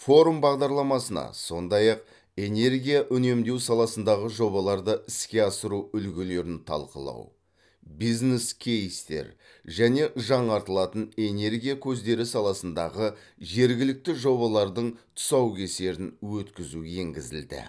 форум бағдарламасына сондай ақ энергия үнемдеу саласындағы жобаларды іске асыру үлгілерін талқылау бизнес кейстер және жаңартылатын энергия көздері саласындағы жергілікті жобалардың тұсаукесерін өткізу енгізілді